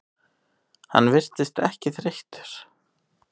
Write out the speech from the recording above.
Hann virðist ekki þreyttur.